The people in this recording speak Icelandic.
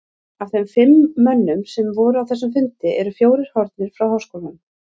Af þeim fimm mönnum, sem voru á þessum fundi, eru fjórir horfnir frá háskólanum.